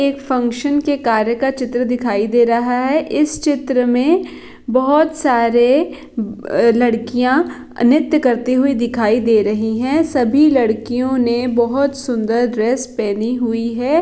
एक फंगक्शन के कार्य का चित्र दिखाई दे रहा है इस चित्र मे बोहोत सारे लड़किया नृत्य करते दिखाई दे रही है सभी लड़कियों ने बोहोत सुंदर ड्रेस पहनी हुई हैं।